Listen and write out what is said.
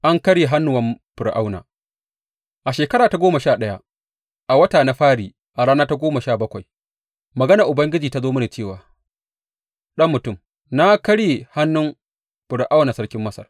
An Ƙarye Hannuwan Fir’auna A shekara ta goma sha ɗaya, a wata na fari a rana ta goma sha bakwai, maganar Ubangiji ta zo mini cewa, Ɗan mutum, na karye hannun Fir’auna sarkin Masar.